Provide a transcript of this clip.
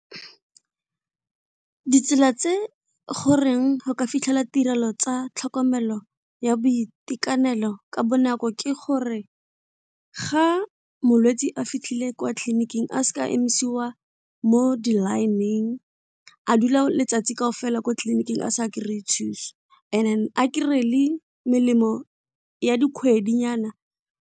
Ditsela tse goreng go ka fitlhela tirelo tsa tlhokomelo ya boitekanelo ka bonako ke gore ga molwetsi a fitlhile kwa tleliniking a seka emisiwa mo di-line-eng a dula letsatsi kaofela kwa tleliniking a sa kry-e thuso and then a kry-e le melemo ya dikgwedinyana.